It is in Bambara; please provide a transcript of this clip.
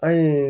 Ayi